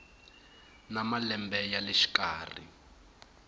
na malembe ya le xikarhi